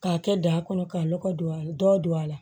K'a kɛ da kɔnɔ k'a lɔgɔ don a la dɔ don a la